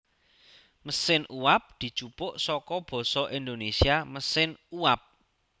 Mesin uwab dijupuk saka basa Indonésia mesin uap